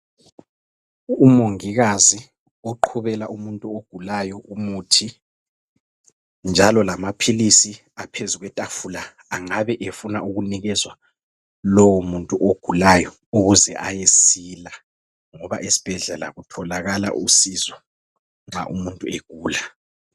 Umongikazi oqhubela umuntu ogulayo umuthi njalo lamaphilizi aphezu kwetafula angabe efuna ukunikezwa lowo muntu ogulayo ukuze ayesila, ngoba esibhedlela kutholakala usizo nxa umuntu egula.